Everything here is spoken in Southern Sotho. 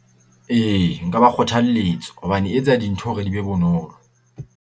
Ee nka ba kgothalletsa, hobane e etsa dintho hore di be bonolo.